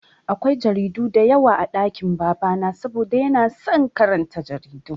Akwai jaridu diyawa a ɗakin baba na saboda yana son karanta jarida